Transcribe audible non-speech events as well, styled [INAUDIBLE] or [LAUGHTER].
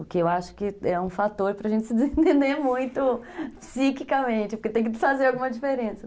O que eu acho que é um fator para a gente se [LAUGHS] desentender muito psiquicamente, porque tem que fazer alguma diferença.